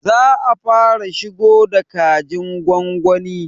Za a fara shigo da kajin gwagwani